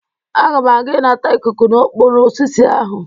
Aga m aga ịnata ikuku n'okpuru osisi ahụ.